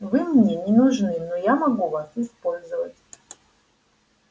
вы мне не нужны но я могу вас использовать